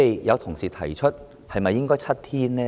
有同事提出是否應該改為7天呢？